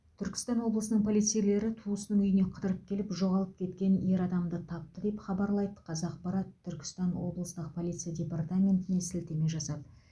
түркістан облысының полицейлері туысының үйіне қыдырып келіп жоғалып кеткен ер адамды тапты деп хабарлайды қазақпарат түркістан облыстық полиция департаментіне сілтеме жасап